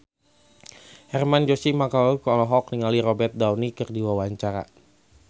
Hermann Josis Mokalu olohok ningali Robert Downey keur diwawancara